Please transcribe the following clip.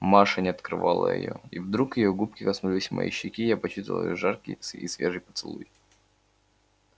маша не отрывала её и вдруг её губки коснулись моей щеки и я почувствовал их жаркий и свежий поцелуй